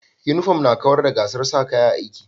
Uniform na kawar da gasar sa kaya a'aiki.